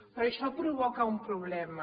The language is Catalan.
però això provoca un problema